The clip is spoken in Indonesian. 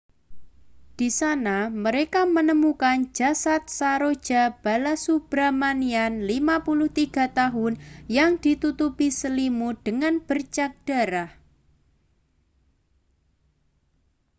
di sana mereka menemukan jasad saroja balasubramanian 53 tahun yang ditutupi selimut dengan bercak darah